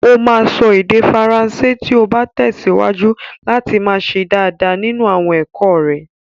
O máa sọ èdè Faransé tí ó bá tẹ̀síwájú láti máa ṣe dáadáa nínú àwọn ẹ̀kọ́ rẹ̀.